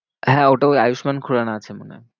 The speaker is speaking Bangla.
হ্যাঁ ওটা ওই আয়ুষ্মান খুরানা আছে মনে হয়।